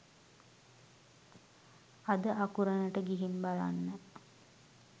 අද අකුරණට ගිහින් බලන්න